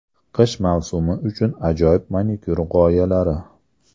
Qish mavsumi uchun ajoyib manikyur g‘oyalari .